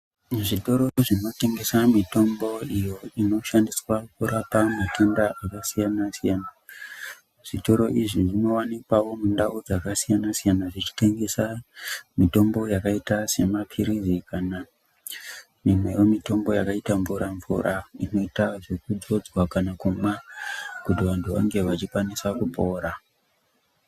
Zvitoro zvinotengesa mitombo iyo inoshandiswe kurapa matenda akasiyanasiyana zvitoro izvi zvinowanikwawo mundau dzakasiyanasiyana zvichitengesa mitombo yakaita semapilizi kana imwewo mitombo yakaita mvura -mvura inota zvekudzodzwa kana kumwa kuti vantu vange veikwanisa kupora.